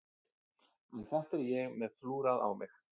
En þetta er ég með flúrað á mig.